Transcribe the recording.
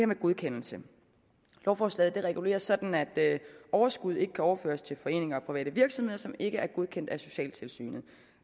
med godkendelse lovforslaget regulerer sådan at overskud ikke kan overføres til foreninger og private virksomheder som ikke er godkendt af socialtilsynet